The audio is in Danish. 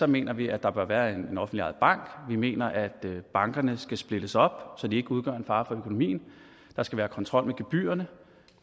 mener vi at der bør være en offentligt ejet bank vi mener at bankerne skal splittes op så de ikke udgør en fare for økonomien der skal være kontrol med gebyrerne og